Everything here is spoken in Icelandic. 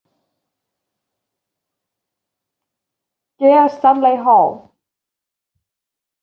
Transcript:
G Stanley Hall.